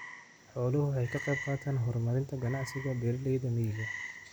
Xooluhu waxay ka qayb qaataan horumarinta ganacsiga beeralayda miyiga.